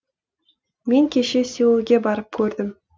мен кеше сеулге барып көрдім